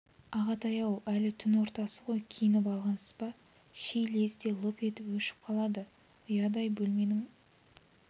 ағатай-ау әлі түн ортасы ғой киініп алғансыз ба ши лезде лып етіп өшіп қалды ұядай бөлменің